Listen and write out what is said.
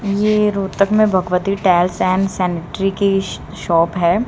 यह रोहतक में Bhagwati tiles and sanitary की शॉप है।